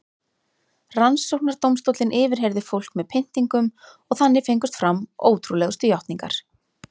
Rannsóknardómstóllinn yfirheyrði fólk með pyntingum og þannig fengust fram ótrúlegustu játningar.